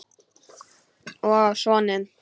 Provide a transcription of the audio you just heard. Og á soninn.